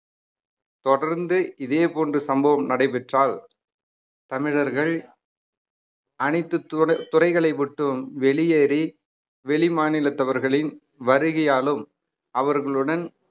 தொடர்ந்து இதே போன்று சம்பவம் நடைபெற்றால் தமிழர்கள் அனைத்து து~ துறைகளை விட்டும் வெளியேறி வெளிமாநிலத்தவர்களின் வருகையாலும் அவர்களுடன்